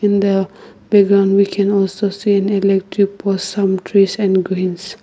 in the background we can also see an electric poles some trees and greens.